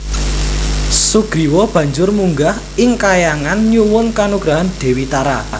Sugriwa banjur munggah ing kahyangan nyuwun kanugrahan Dewi Tara